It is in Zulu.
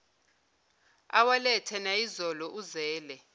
awalethe nayizolo uzele